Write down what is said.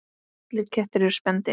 Allir kettir eru spendýr